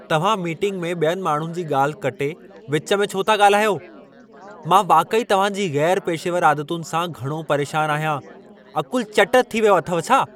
तव्हां मीटिंग में ॿियनि माण्हुनि जी ॻाल्हि कटे विच में छो था ॻाल्हायो? मां वाक़ई तव्हांजी गै़रु पेशेवर आदतुनि सां घणो परेशानु आहियां। अक़ुलु चट थी वियो अथव छा?